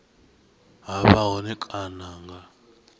ha vha hone kana nga